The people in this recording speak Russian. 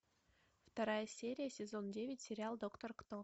вторая серия сезон девять сериал доктор кто